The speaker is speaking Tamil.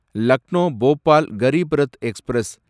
லக்னோ போபால் கரிப் ரத் எக்ஸ்பிரஸ்